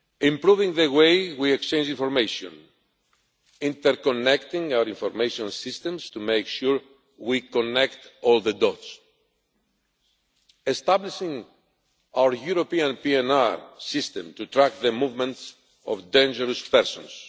improving the way we exchange information interconnecting our information systems to make sure we connect all the dots establishing our European PNR system to track the movements of dangerous persons